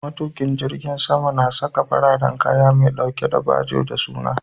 Matukin jirgi na Saka fararen kaya me ɗauke da bajo da suna